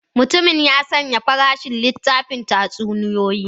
Mutumin ya sanya farashin littafin tatsuniyoyi.